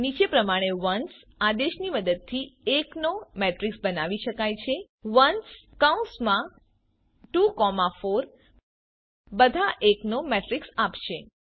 નીચે પ્રમાણે ઓન્સ આદેશની મદદથી એક નો મેટ્રીક્સ બનાવી શકાય છે ones24 બધા એક નો મેટ્રીક્સ આપશે